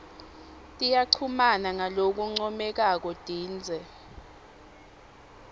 tiyachumana ngalokuncomekako tindze